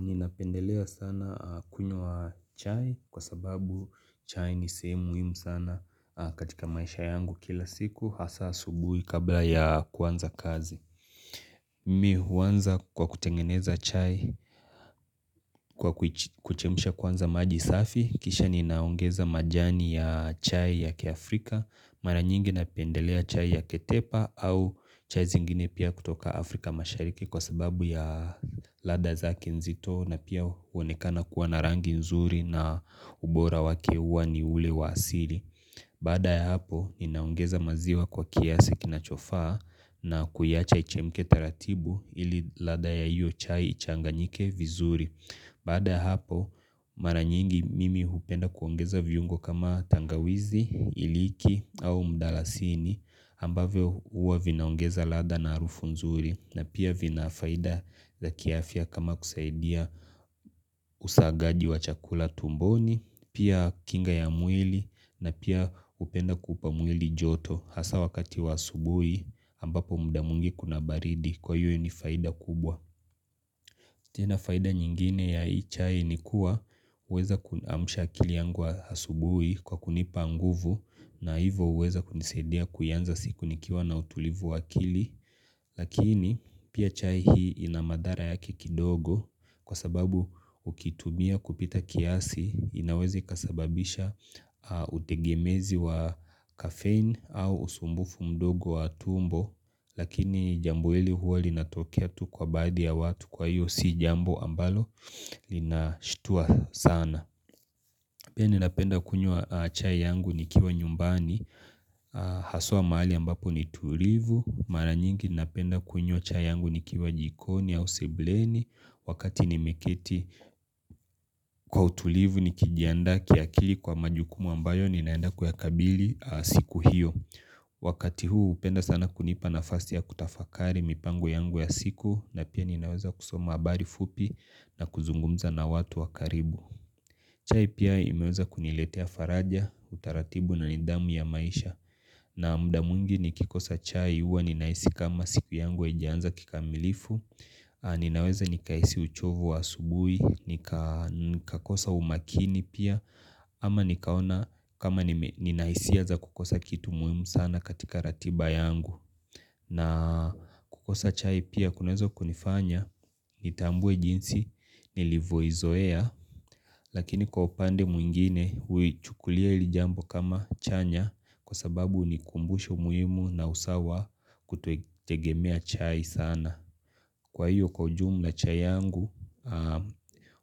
Ninapendelea sana kunywa chai kwa sababu chai ni sehemu muhimu sana katika maisha yangu kila siku hasa asubuhi kabla ya kuanza kazi. Mi huanza kwa kutengeneza chai kwa kuchemsha kwanza maji safi, kisha ninaongeza majani ya chai ya kiafrika. Mara nyingi napendelea chai ya ketepa au chai zingine pia kutoka Afrika mashariki kwa sababu ya ladha zake nzito na pia uonekana kuwa na rangi nzuri na ubora wake huwa ni ule wa asili. Baada ya hapo inaongeza maziwa kwa kiasi kinachofaa na kuiacha ichemke taratibu ili ladha ya hiyo chai ichanganyike vizuri. Baada ya hapo mara nyingi mimi upenda kuongeza viungo kama tangawizi, iliki au mdalasini ambavyo huwa vinaongeza ladha na arufu nzuri na pia vinafaida za kiafya kama kusaidia usagaji wa chakula tumboni, pia kinga ya mwili na pia upenda kupa mwili joto hasa wakati wa asubui ambapo mda mwingi kuna baridi kwa hiyo ni faida kubwa. Tena faida nyingine ya hii chai ni kuwa uweza kuamsha akili yangu asubuhi kwa kunipa nguvu na hivo uweza kunisadia kuianza siku nikiwa na utulivu wa akili lakini pia chai hii ina mathara yake kidogo kwa sababu ukitumia kupita kiasi inaweze ikasababisha utegemezi wa caffeine au usumbufu mdogo wa tumbo lakini jambo ili huwa linatokea tu kwa baadhi ya watu kwa hiyo si jambo ambalo linashtua sana Pia ninapenda kunywa chai yangu nikiwa nyumbani haswa mahali ambapo ni tulivu. Mara nyingi ninapenda kunywa chai yangu nikiwa jikoni au sebuleni wakati nimeketi kwa utulivu nikijiandaa kiakili kwa majukumu ambayo ninaenda kuyakabili siku hiyo. Wakati huu upenda sana kunipa nafast ya kutafakari mipango yangu ya siku na pia ninaweza kusoma habari fupi na kuzungumza na watu wa karibu. Chai pia imeweza kuniletea faraja, utaratibu na nidhamu ya maisha. Na mda mwingi nikikosa chai huwa ninahisi kama siku yangu haijaanza kikamilifu Ninaweza nikahisi uchovu wa asubuhi, nikakosa umakini pia ama nikaona kama nina hisia za kukosa kitu muhimu sana katika ratiba yangu na kukosa chai pia kunaweza kunifanya nitambue jinsi nilivoizoea lakini kwa upande mwingine uichukulia ili jambo kama chanya kwa sababu ni kumbusho muhimu na usawa kuto tegemea chai sana kwa hiyo kwa ujumla chai yangu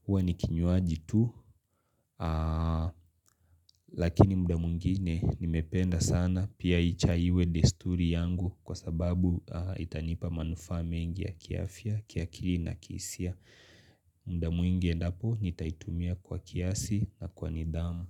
hua ni kinywaji tu lakini mda mwingine nimependa sana pia hii chai iwe desturi yangu kwa sababu itanipa manufaa mengi ya kiafya, kiakili na kihisia mda mwingi endapo nitaitumia kwa kiasi na kwa nidhamu.